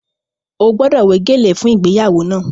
Ó gbọ́dọ̀ wé gèlè fún ìgbéyàwó náà!